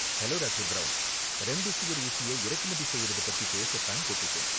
Hello, doctor. Brown. Remdesivir ஊசிய இறக்குமதி செய்றது பத்தி பேச தான் கூப்பிட்டேன்.